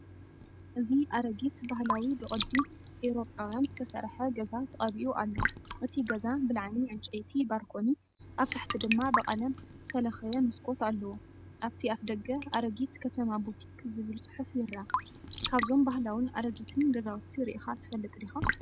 እዚ ኣረጊት ባህላዊ ብቕዲ ኤውሮጳውያን ዝተሰርሐ ገዛ ተቐቢኡ ኣሎ። እቲ ገዛ ብላዕሊ ዕንጨይቲ ባርኮኒ ኣብ ታሕቲ ድማ ብቐለም ዝተለኽየ መስኮት ኣለዎ። ኣብቲ ኣፍደገ "ኣረጊት ከተማ ቡቲክ" ዝብል ጽሑፍ ይርአ። ካብዞም ባህላውን ኣረጊትን ገዛውቲ ርኢኻ ትፈልጥ ዲኻ?